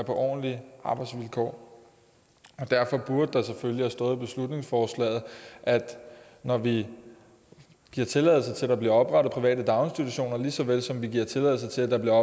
ordentlige arbejdsvilkår derfor burde der selvfølgelig have stået i beslutningsforslaget at når vi giver tilladelse til at der bliver oprettet private daginstitutioner lige så vel som vi giver tilladelse til at der bliver